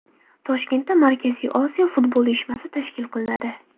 Toshkentda Markaziy Osiyo futbol uyushmasi tashkil qilinadi.